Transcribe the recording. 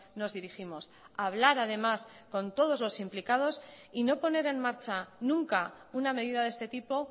nos dirigimos hablar además con todos los implicados y no poner en marcha nunca una medida de este tipo